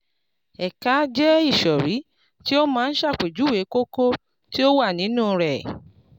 ẹ̀ka jẹ́ ìsòrí tí ó máa ń ṣàpèjúwe kókó tí ó wà nínú rẹ̀.